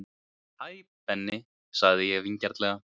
Hæ Benni sagði ég vingjarnlega.